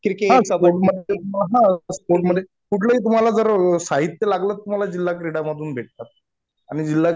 हा स्पोर्टमधे तुम्हाला हा. स्पोर्टमधे कुठलंही तुम्हाला साहित्य लागलं तर जिल्हा क्रीडा मधून भेटतात. आणि जिल्हा